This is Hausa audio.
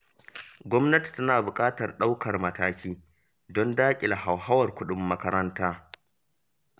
Gwamnati tana buƙatar ɗaukar mataki don daƙile hauhawar kuɗin makaranta.